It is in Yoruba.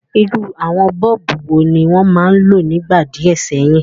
Irú àwon bulb wo ni won ma n lo nígbà díẹ̀ séyìn?